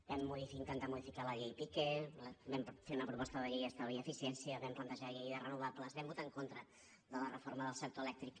vam intentar modificar la llei piqué vam fer una proposta de llei d’estalvi i eficiència vam plantejar la llei de renovables vam votar en contra de la reforma del sector elèctric